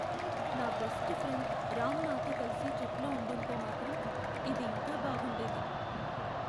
నా best friend Ram నాతో కలిసి ట్రిప్లో ఉండుంటే మాత్రం, ఇది ఇంకా బాగుండేది.